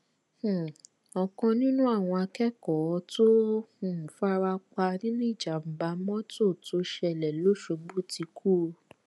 um ọkan nínú àwọn akẹkọọ tó um fara pa nínú ìjàmbá mọtò tó ṣẹlẹ lọṣọgbó ti kú o